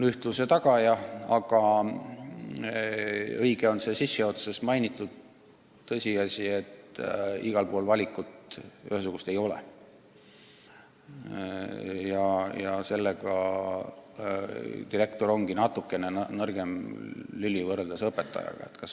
Paraku on õige sissejuhatuses mainitud tõsiasi, et igal pool ei ole head valikut ja seetõttu direktor ongi natuke nõrgem lüli kui õpetajad.